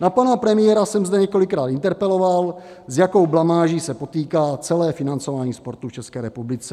Na pana premiéra jsem zde několikrát interpeloval, s jakou blamáží se potýká celé financování sportu v České republice.